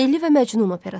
Leyli və Məcnun operası.